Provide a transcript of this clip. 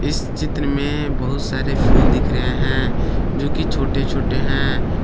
इस चित्र में बहुत सारे फूल दिख रहे हैं जो कि छोटे छोटे हैं।